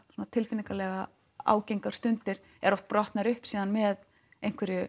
tilfinningalega ágengar stundir eru oft brotnar upp með einhverju